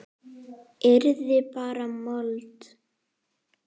Yrði bara mold.